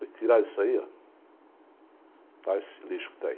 Depois que tiraram isso aí, está esse lixo que está aí.